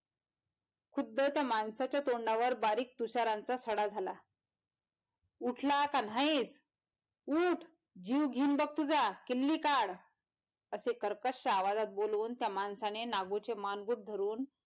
खुद्द त्या माणसाच्या तोंडावर बारीक तुषारांचा सडा झाला उठला का नाहीच उठ जीव घेईन बग तुझा किल्ली काढ असे कर्कश्य आवाजात बोलून त्या माणसाने नागूचे मानगूट धरून,